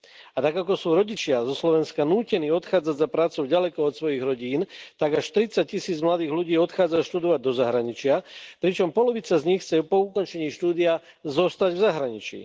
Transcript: A tak, ako sú rodičia zo Slovenska nútení odchádzať za prácou ďaleko od svojich rodín, tak až tridsaťtisíc mladých ľudí odchádza študovať do zahraničia, pričom polovica z nich chce po ukončení štúdia zostať v zahraničí.